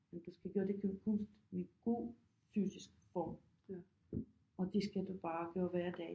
Du skal gøre det kun kunst med god fysisk form og det skal du bare gøre hver dag det